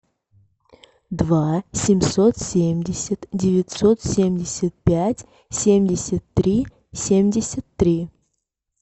два семьсот семьдесят девятьсот семьдесят пять семьдесят три семьдесят три